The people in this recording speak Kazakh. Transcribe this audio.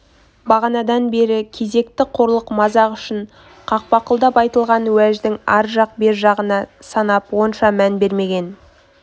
бағанадан бері кезекті қорлық мазақ үшін қақпақылдап айтылған уәждің ар жақ бері жағына санап онша мән бермеген